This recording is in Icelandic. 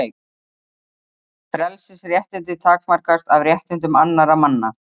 Frelsisréttindi takmarkast af réttindum annarra manna.